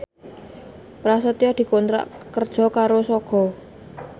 Prasetyo dikontrak kerja karo Sogo